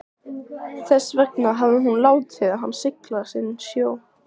Þess vegna hafði hún látið hann sigla sinn sjó.